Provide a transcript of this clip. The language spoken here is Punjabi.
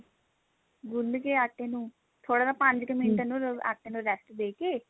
ਗੁੰਨ ਕੇ ਆਟੇ ਨੂੰ ਥੋੜਾ ਜਾ ਪੰਜ ਕੁ ਮਿੰਟ ਆਟੇ ਨੂੰ rest ਦੇਕੇ